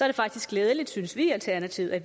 det faktisk glædeligt synes vi i alternativet at